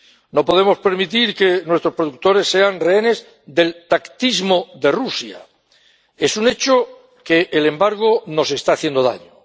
No podemos permitir que nuestros productores sean rehenes del tactismo de Rusia. Es un hecho que el embargo nos está haciendo daño.